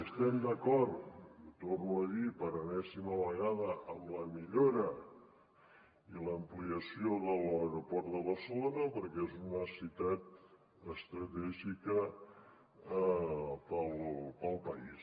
estem d’acord i ho torno a dir per enèsima vegada amb la millora i l’ampliació de l’aeroport de barcelona perquè és una necessitat estratègica per al país